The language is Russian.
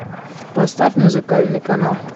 поставь музыкальный канал